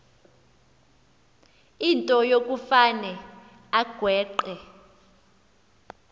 into yokufane agweqe